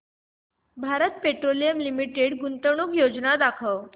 Bharat Petroleum Limited गुंतवणूक योजना दाखव